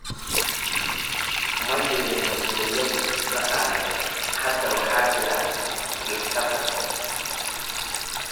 Ma jirin masuuliyad dhaqaale. Hadda waxaa jira isla xisaabtan.